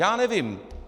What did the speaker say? Já nevím.